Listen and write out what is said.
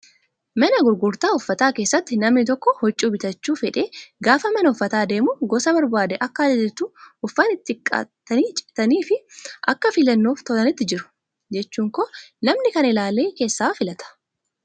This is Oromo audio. Mana gurgurtaa uffataa keessatti namni tokko huccuu bitachuu fedhee gaafa mana uffataa deemu gosa barbaade akka ajajatu uffanni xixiqqaatanii citanii fi akka filannoof tolanitti jiru. Jechuun koo namni kana ilaalee keessaa filata.